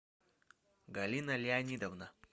галина леонидовна